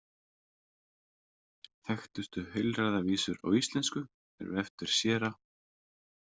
Þekktustu heilræðavísur á íslensku eru eftir séra